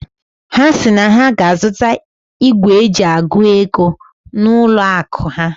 Ha si na ha ga-azụta igwe eji agụ ego na n'ụlọ akụ ha.